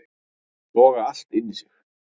Soga allt inn í sig